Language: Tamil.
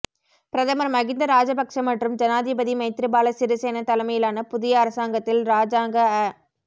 பிரதமர் மகிந்த ராஜபக்ஷ மற்றும் ஜனாதிபதி மைத்திரிபாலசிறிசேன தலைமையிலான புதிய அரசாங்கத்தில் இராஜாங்க அ